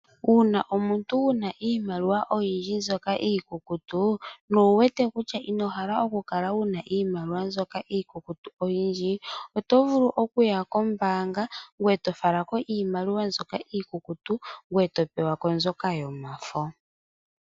Uuna omuntu wuna iimaliwa oyindji mbyoka iikukutu na owuwete kutya inohala okukala wuna iimaliwa mbyoka iikukutu oyindji, oto vulu okuya kombaanga ngoye tofalako iimaliwa mbyoka iikukutu ngoye topewako mbyoka yomafo.